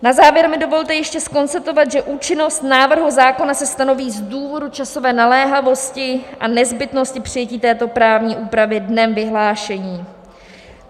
Na závěr mi dovolte ještě konstatovat, že účinnost návrhu zákona se stanoví z důvodu časové naléhavosti a nezbytnosti přijetí této právní úpravy dnem vyhlášení.